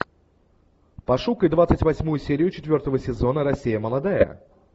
пошукай двадцать восьмую серию четвертого сезона россия молодая